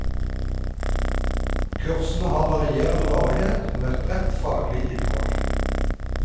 Kursene har varierende varighet og med et bredt faglig innhold.